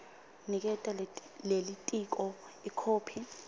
niketa lelitiko ikhophi